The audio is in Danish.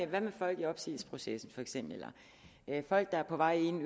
hvad med folk i opsigelsesprocessen for eksempel eller folk der er på vej ind